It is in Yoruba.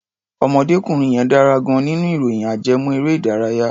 Ọ̀mọdékùnrin yẹn dára gan-an nínú ìròyìn ajẹ́mọ́-erẹ́-ìdárayá.